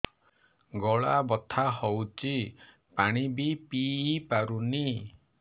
ଗଳା ବଥା ହଉଚି ପାଣି ବି ପିଇ ପାରୁନି